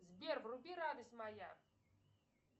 сбер вруби радость моя